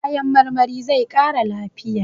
Kayan marmari zai ƙara lafiya.